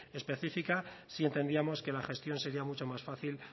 específica sí entenderíamos que la gestión sería mucho más fácil